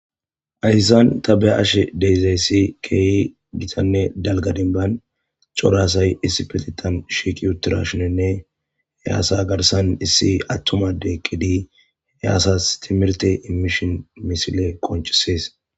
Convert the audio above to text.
ahissan tabe ashe deyzayssi keehi gitanne dalgadinban corasay issi petitan shiiqi uturashinenne he aasa garsan issi attumade qqedi heaasas timirte immishin misile konchisees